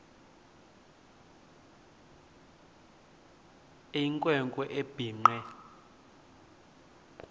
eyinkwe nkwe ebhinqe